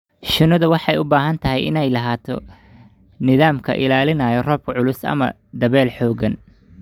Shinnidu waxay u baahan tahay inay lahaato nidaam ka ilaalinaya roobka culus ama dabayl xooggan.